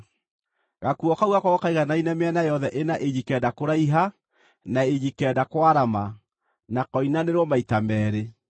Gakuo kau gakorwo kaiganaine mĩena yothe ĩna inji kenda kũraiha na inji kenda kwarama, na koinanĩrwo maita meerĩ.